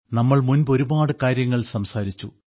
നമ്മൾ മുൻപ് ഒരുപാട് കാര്യങ്ങൾ സംസാരിച്ചു